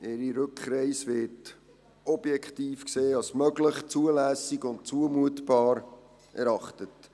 Ihre Rückreise wird objektiv gesehen als möglich, zulässig und zumutbar erachtet.